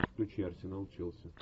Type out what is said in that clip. включи арсенал челси